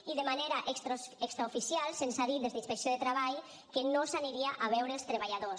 i de manera extraoficial se’ns ha dit des d’inspecció de treball que no s’aniria a veure els treballadors